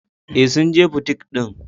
Ee, sun je butik din.